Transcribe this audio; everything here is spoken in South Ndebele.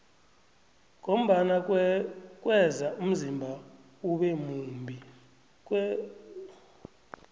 ngombana kweza umzimba ube mumbi